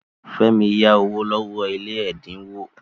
Fẹ́mi yá owó lọ́wọ́ ilé ẹ̀dínwó.